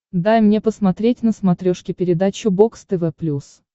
дай мне посмотреть на смотрешке передачу бокс тв плюс